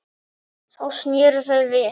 Þá sneru þau við.